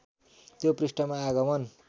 त्यो पृष्ठमा आगमन